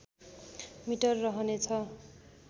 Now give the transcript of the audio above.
metre रहनेछ